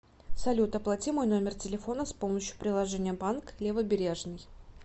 салют оплати мой номер телефона с помощью приложения банк левобережный